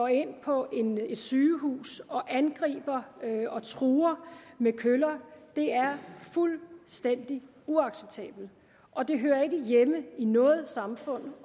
ind på et sygehus og angreb og truede med køller er fuldstændig uacceptabelt og det hører ikke hjemme i noget samfund